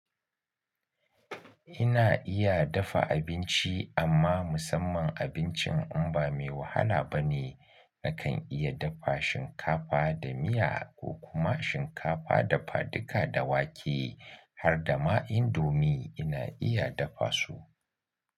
Ina iya dafa abinci amma musamman abincin imba mai wahala bane. Nakan iya dafa shinkafa da miya ko kuma shinkafa dafa duka da wake har da ma indomi ina iya dafa su.